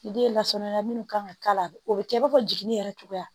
Den lasɔrɔya minnu kan ka k'a la o bɛ kɛ i b'a fɔ jiginni yɛrɛ cogoya